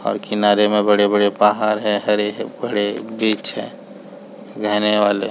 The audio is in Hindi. और किनारे में बड़े- बड़े पहाड़ है और हरे -भरे बीच है रहने घने वाले --